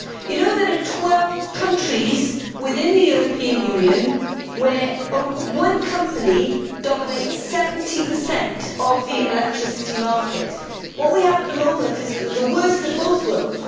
You know that there are 12 countries in the European Union where one company dominates 70 of the electricity market. What we have at the moment is the worst of both worlds.